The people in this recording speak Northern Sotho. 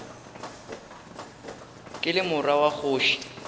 ke le morwa wa kgoši